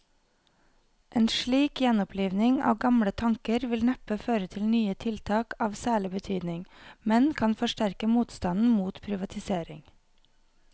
En slik gjenoppliving av gamle tanker vil neppe føre til nye tiltak av særlig betydning, men kan forsterke motstanden mot privatisering.